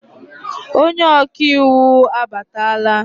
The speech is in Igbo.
Onye ọka iwu abatala?